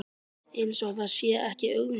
Eins og það sé ekki augljóst.